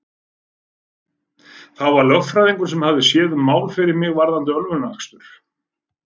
Það var lögfræðingur sem hafði séð um mál fyrir mig varðandi ölvunarakstur.